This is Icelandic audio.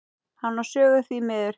Hann á sögu, því miður.